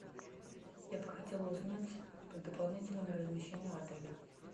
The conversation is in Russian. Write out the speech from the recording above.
я бы хотела узнать про дополнительное размещение в отеле